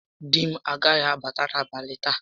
Di m agaghị abata n'abalị taa